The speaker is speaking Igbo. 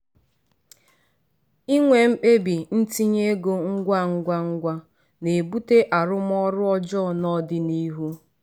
inwe mkpebi ntinye ego ngwa ngwa ngwa na-ebute arụmọrụ ọjọọ n’ọdịnihu.